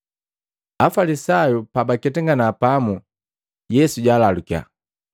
Afalisayu pabaketangana pamu, Yesu jalalukiya,